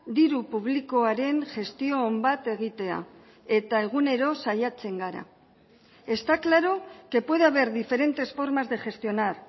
diru publikoaren gestio on bat egitea eta egunero saiatzen gara está claro que puede haber diferentes formas de gestionar